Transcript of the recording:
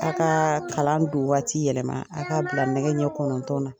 A ka kalan don waati yɛlɛma, a ka bila nɛgɛ ɲɛn kɔnɔntɔn na.